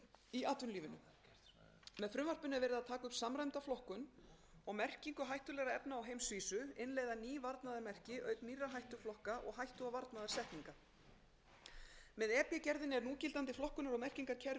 í atvinnulífinu með frumvarpinu er verið að taka upp samræmda flokkun og merkingu hættulegra efna á heimsvísu innleiða ný varnaðarmerki auk nýrra hættuflokka og hættu og varnaðarsetninga með e b gerðinni er núgildandi flokkunar og merkingarkerfi evrópusambandsins fyrir